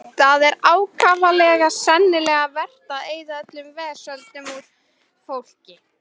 Það er ákaflega seinlegt verk að eyða vesöldinni úr fólki.